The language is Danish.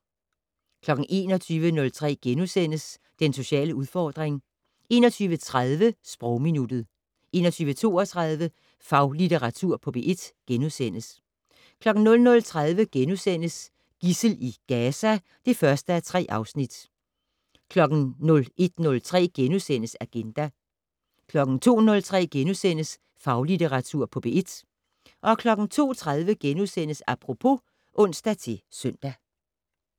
21:03: Den sociale udfordring * 21:30: Sprogminuttet 21:32: Faglitteratur på P1 * 00:30: Gidsel i Gaza (1:3)* 01:03: Agenda * 02:03: Faglitteratur på P1 * 02:30: Apropos *(ons-søn)